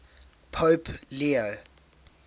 pope leo